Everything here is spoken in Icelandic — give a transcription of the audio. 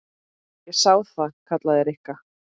Ég sá það. kallaði Rikka.